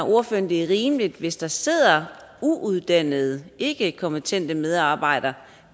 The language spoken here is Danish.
det er rimeligt hvis der sidder uuddannede ikkekompetente medarbejdere